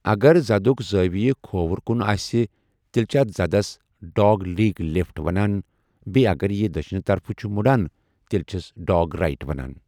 اَگَر زَدُک زٲوِیہِ کھووُر کُن آسہِ تیٛلہِ چِھ اَتھ زَدَس 'ڈاگ لیگ لیفٹ'وَنان بیٛیہِ اَگَر یہِ دٔچِھنہِ طَرفہٕ چُھ مٗڑان تیٛلہِ چِھس 'ڈاگ رایِٹ' وَنان ۔